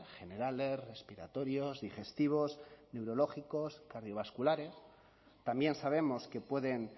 generales respiratorios digestivos neurológicos cardiovasculares también sabemos que pueden